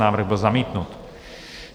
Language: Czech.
Návrh byl zamítnut.